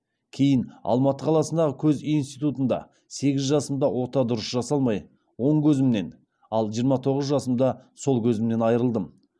кейін алматы қаласындағы көз институтында сегіз жасымда ота дұрыс жасалмай оң көзімнен ал жиырма тоғыз жасымда сол көзімнен айырылдым